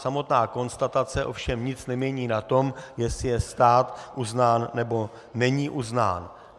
Samotná konstatace ovšem nic nemění na tom, jestli je stát uznán, nebo není uznán.